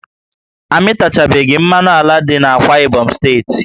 A mịtachabeghi mmanụ ala dị n'Akwa Ibom steeti